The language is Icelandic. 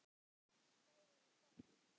Spáið í það!